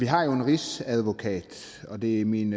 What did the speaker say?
har jo en rigsadvokat og det er min